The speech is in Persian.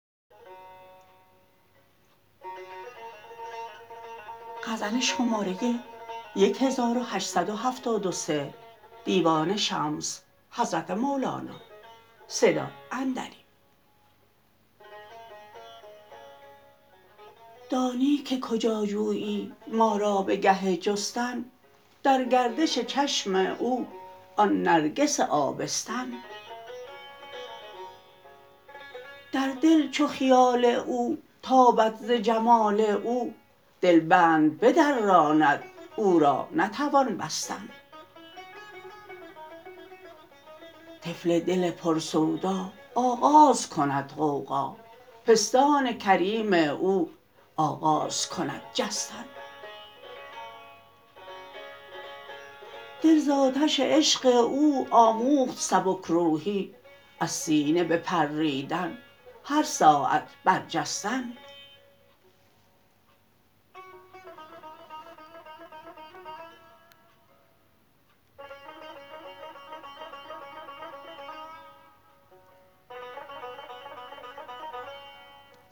دانی که کجا جویی ما را به گه جستن در گردش چشم او آن نرگس آبستن در دل چو خیال او تابد ز جمال او دل بند بدراند او را نتوان بستن طفل دل پرسودا آغاز کند غوغا پستان کریم او آغاز کند جستن دل ز آتش عشق او آموخت سبک روحی از سینه بپریدن هر ساعت برجستن